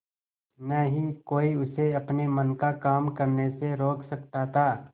न ही कोई उसे अपने मन का काम करने से रोक सकता था